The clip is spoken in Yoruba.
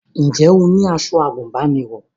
Ǹjẹ́ o ní aṣọ àgùnbánirọ̀?